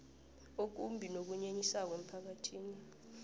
okumbi nokunyenyisako emphakathini